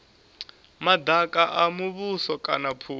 madaka a muvhuso kana phukha